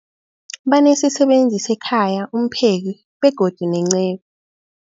Banesisebenzi sekhaya, umpheki, begodu nenceku.